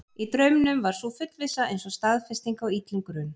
Í draumnum var sú fullvissa eins og staðfesting á illum grun.